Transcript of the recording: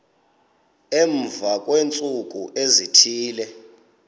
emva kweentsuku ezithile